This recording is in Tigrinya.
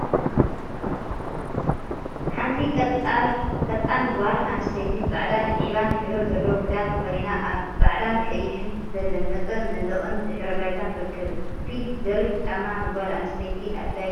ሓንቲ ቀጣን ጓል አንስተይቲ ፃዕዳን ዒባን ሕብሪ ዘለዎ ክዳን ተከዲና አብ ፃዕዳን ቀይሕን ዝተለመፀ መንደቅን ድሕረ ባይታን ትርከብ፡፡ ስፒል/በሪክ ጫማ ንጓል አንስተይቲ አድላይ ድዩ?